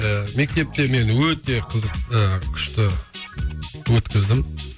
ыыы мектепте мен өте қызық ыыы күшті өткіздім